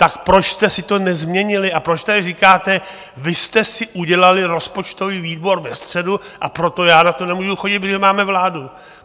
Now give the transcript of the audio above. Tak proč jste si to nezměnili a proč tady říkáte - vy jste si udělali rozpočtový výbor ve středu, a proto já na to nemůžu chodit, protože máme vládu?